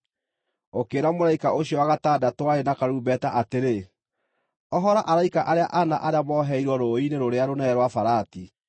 Ũkĩĩra mũraika ũcio wa gatandatũ warĩ na karumbeta atĩrĩ, “Ohora araika arĩa ana arĩa moheirwo rũũĩ-inĩ rũrĩa rũnene rwa Farati.”